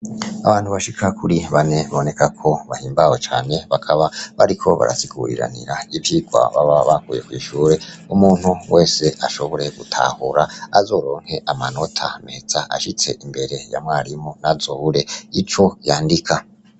Abantu bashika kuri bane biboneka ko bahimbawe cane bakaba bariko barasiguriranira ivyigwa baba bakuye kw' ishure umuntu wese ashobore gutahura azoronke amanota meza ashitse imbere ya mwarimu ntazobure ico yandika.